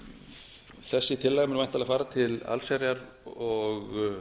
þessi tillaga mun væntanlega fara til allsherjar og